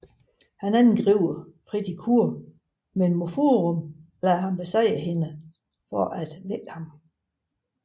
Han angriber Pretty Cure men Mofurun lader ham besejrer hende for at vække ham